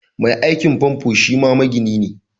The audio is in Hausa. Mai aikin famfo shima magini ne